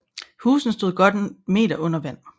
Husene stod under godt en meter vand